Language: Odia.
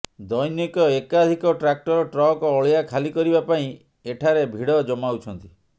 ଦ୘ନିକ ଏକାଧିକ ଟ୍ରାକ୍ଟର ଟ୍ରକ୍ ଅଳିଆ ଖାଲି କରିବା ପାଇଁ ଏଠାରେ ଭିଡ଼ ଜମାଉଛନ୍ତି